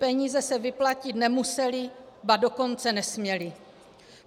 Peníze se vyplatit nemusely, ba dokonce nesměly.